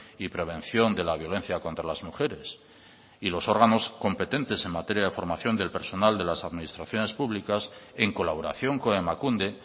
y prevención de la violencia contra las mujeres y los órganos competentes en materia de formación del personal de las administraciones públicas en colaboración con emakunde